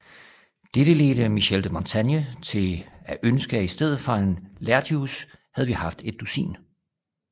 Dette ledte Michel de Montaigne til at ønske at i stedet for en Laertius havde vi haft et dusin